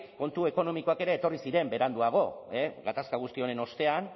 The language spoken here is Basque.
kontu ekonomikoak ere etorri ziren beranduago gatazka guzti honen ostean